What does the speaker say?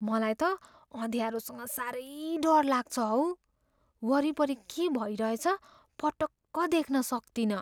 मलाई त अँध्यारोसँग साह्रै डर लाग्छ हौ। वरिपरि के भइरहेछ पटक्क देख्न सक्तिनँ।